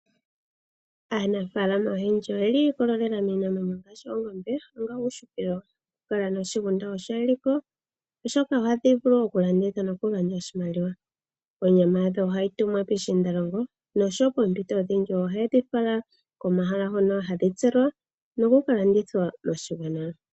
Aanafaalama oyendji oye li yi ikolela miinamwenyo ngaashi oongombe, onga uuhupilo. Okukala noshigunda osha yelithwa, oshoka ohadhi vulu okulandithwa nokugandja oshimaliwa. Onyama yadho ohayi tumwa piishiindalongo nosho wo poompito odhindji ohaye dhi fala komahala hono hadhi tselwa noku ka landithwa moshigwana.